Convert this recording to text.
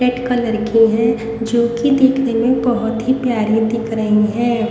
Red colour की है जो कि देखने में बहुत ही प्यारी दिख रही है।